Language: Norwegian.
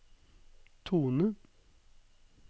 tone